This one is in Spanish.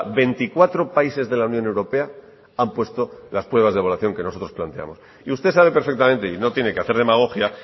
veinticuatro países de la unión europea han puesto las pruebas de evaluación que nosotros planteamos y usted sabe perfectamente y no tiene que hacer demagogia